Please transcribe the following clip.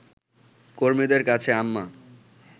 কর্মীদের কাছে আম্মা